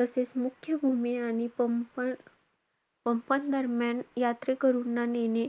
तसेचं, मुख्य भूमी आणि पंपन~ पंपन दरम्यान यात्रेकरूंना नेणे.